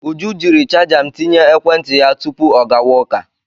Uju jiri chaja m tinye ekwentị ya tupu ọ gawa ụka.